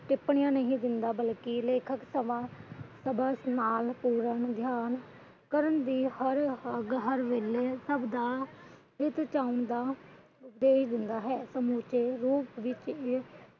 ਟਿੱਪਣੀਆਂ ਨਹੀਂ ਦਿੰਦਾ ਬਲਕਿ ਲੇਖਕ ਸਭਾ ਕਰਨ ਦੀ ਹਰ ਵੇਲੇ ਸਭ ਦਾ ਹਿੱਤ ਚਾਹੁੰਦਾ ਸਮੁਚੇ ਰੂਪ ਵਿਚ